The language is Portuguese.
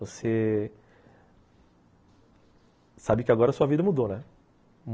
Você sabe que agora sua vida mudou, né?